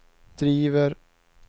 driver